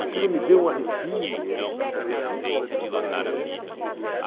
Aquilo me deu um arrepio.